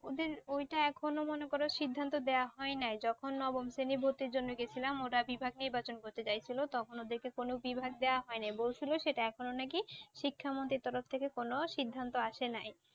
ওদের ঐ টা এখন ও মনে করো সিদ্ধান্ত দেওয়া হয় নাই। যখন নবম শ্রেণি ভর্তির জন্যে গেছিলাম ওরা বিভাগ নির্বাচন করতে চাইছিল তখন ওদেরকে কোনও বিভাগ ই দেওয়া হয়নি। বলছিল কি এটা এখন ও নাকি শিক্ষামন্ত্রী তরফ থেকে কোনও সিদ্ধান্ত আসে নাই।